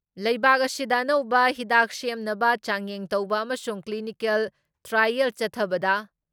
ꯂꯩꯕꯥꯛ ꯑꯁꯤꯗ ꯑꯅꯧꯕ ꯍꯤꯗꯥꯛ ꯁꯦꯝꯅꯕ ꯆꯥꯡꯌꯦꯡ ꯇꯧꯕ ꯑꯃꯁꯨꯡ ꯀ꯭꯭ꯂꯤꯅꯤꯀꯦꯜ ꯇ꯭ꯔꯥꯏꯌꯦꯜ ꯆꯠꯊꯕꯗ